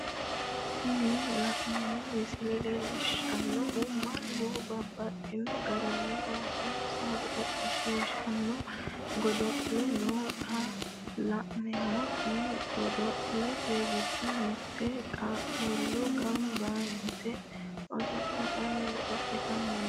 Tini la'neemo misile leellishanohu mannu babaxxino garinni oossoonsa godolishishano godo'le no xa la'neemoti godolete gido mitete qaaqullu gamba yitte osolitanni godolitanni no